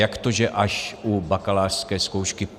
Jak to, že až u bakalářské zkoušky?